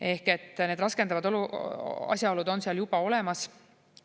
Ehk need raskendavad asjaolud on seal juba olemas.